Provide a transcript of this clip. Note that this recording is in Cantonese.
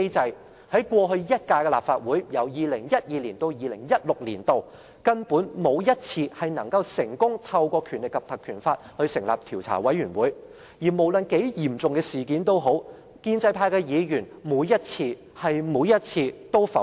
在過去一屆的立法會，議員沒有一次能成功根據《立法會條例》成立調查委員會，而無論是多嚴重的事件，建制派議員每一次——是每一次——也會否決。